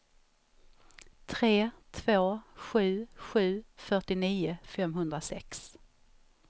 tre två sju sju fyrtionio femhundrasex